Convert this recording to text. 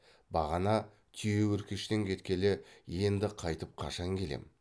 бағана түйеөркештен кеткелі енді қайтып қашан келем